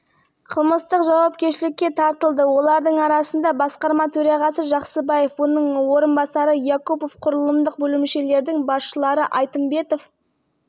қылмыстық іс бойынша залал толығымен өтелді оның үстіне біз күдіктілердің миллиард теңгеден астам мүлкіне қамау салдық